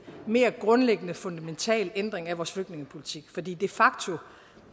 mere grundlæggende fundamental ændring af vores flygtningepolitik for de facto